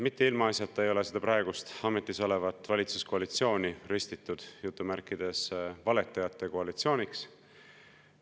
Mitte ilmaasjata ei ole seda praegust ametis olevat valitsuskoalitsiooni ristitud "valetajate koalitsiooniks".